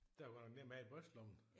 Den var godt nok nem at have i brystlommen